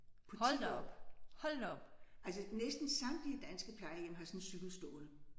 På 10 år. Altså næsten samtlige danske plejehjem har sådan en cykel stående